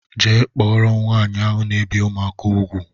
Jee kpọrọ m nwaanyị ahụ na ebi ụmụaka ùgwù!!!!